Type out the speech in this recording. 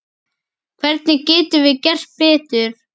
Hvernig getum við gert betur?